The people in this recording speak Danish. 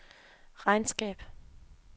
regnskab